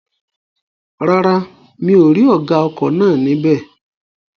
Rárá, mi ò rí ọ̀gá ọkọ̀ náà ní bẹ̀